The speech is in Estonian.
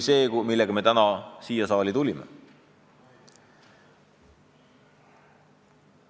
Aga täna tulime siia saali sellise eelnõuga.